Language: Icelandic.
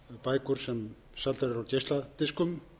bækur sem seldar eru á geisladiskum